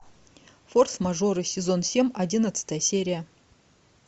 форс мажоры сезон семь одиннадцатая серия